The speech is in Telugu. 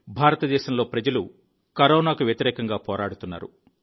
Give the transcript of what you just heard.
భారతదేశంలో ప్రజలు కరోనాకు వ్యతిరేకంగా పోరాడుతున్నారు